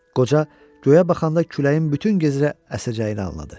Qoca göyə baxanda küləyin bütün gecə əsəcəyini anladı.